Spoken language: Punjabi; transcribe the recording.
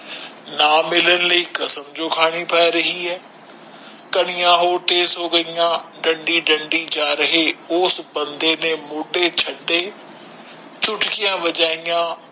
ਨਾ ਮਿਲਣ ਲਈ ਕਸਮ ਜੋ ਖਾਨੀ ਪੈ ਰਹੀ ਹੈ ਕਣੀਆਂ ਹੋਰ ਤੇਜ ਹੋ ਗਈਆਂ ਡੰਡੀ ਡੰਡੀ ਜਾ ਰਹੇ ਉਸ ਬੰਦੇ ਨੇ ਮੋਟੇ ਛੱਤੇ ਚੁਟਕੀਆਂ ਵਜਾਈਆਂ